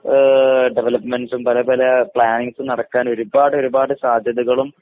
ആഹ് ഡെവലപ്മെൻറ്സും പല പല പ്ലാനിംഗ്‌സും നടക്കാൻ ഒരുപാടൊരുപാട് സാധ്യതകളും